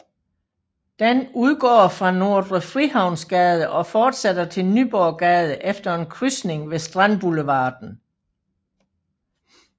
Den udgår fra Nordre Frihavnsgade og fortsætter til Nyborggade efter en krydsning med Strandboulevarden